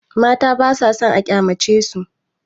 Mata basa sann a kyamacesu.